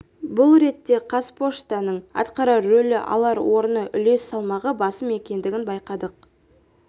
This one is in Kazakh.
бұл ретте қазпоштаның атқарар рөлі алар орны үлес салмағы басым екенін байқадық